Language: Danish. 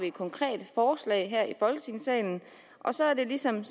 et konkret forslag her i folketingssalen og så er det som